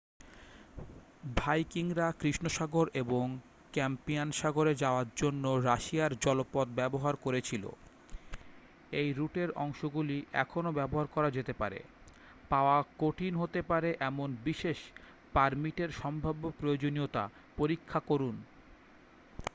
ভাইকিংরা কৃষ্ণ সাগর এবং ক্যাস্পিয়ান সাগরে যাওয়ার জন্য রাশিয়ান জলপথ ব্যবহার করেছিল এই রুটের অংশগুলি এখনও ব্যবহার করা যেতে পারে পাওয়া কঠিন হতে পারে এমন বিশেষ পারমিটের সম্ভাব্য প্রয়োজনীয়তা পরীক্ষা করুন